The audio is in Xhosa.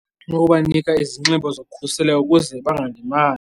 Ngokubanika izinxibo zokhuseleko ukuze bangalimali.